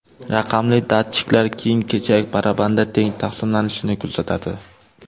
Raqamli datchiklar kiyim-kechak barabanda teng taqsimlanishini kuzatadi.